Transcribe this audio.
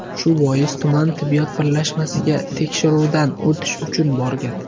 Shu bois, tuman tibbiyot birlashmasiga tekshiruvdan o‘tish uchun borgan.